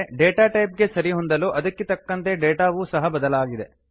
ಆದರೆ data type ಗೆ ಸರಿಹೊಂದಲು ಅದಕ್ಕೆ ತಕ್ಕಂತೆ ಡೇಟಾವು ಸಹ ಬದಲಾಗಿದೆ